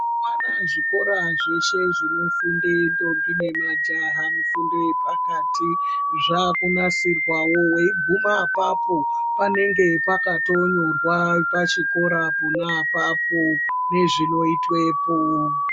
Mazuwana zvikora zveshe zvinofunde ndombi nemajaha mifundo yepakati zvaakunasirwawo weiguma apapo panenge pakatinyorwa pachikora pona apapo nezvinoitwepo.